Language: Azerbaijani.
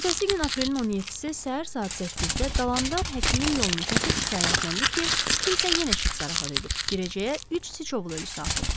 Ertəsi gün aprelin 17-si səhər saat 8-də Dalandar həkimin yolunu kəsib şikayətləndi ki, kimsə yenə şit zarafat edib, girəcəyə üç sıçovulu ölusu atıb.